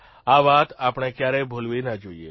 આ વાત આપણે ક્યારેય ભૂલવી ન જોઇએ